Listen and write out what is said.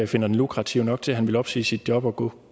finder den lukrativ nok til at han vil opsige sit job og gå